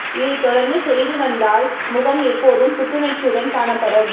இதை தொடர்ந்து செய்து வந்தால் முகம் எப்போதும் புத்துணர்ச்சியுடன் காணப்படும்